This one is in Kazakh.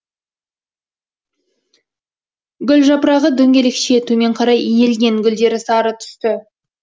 гүл жапырағы дөңгелекше төмен қарай иілген гүлдері сары түсті